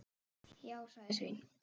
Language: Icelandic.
Já, sagði Sveinn.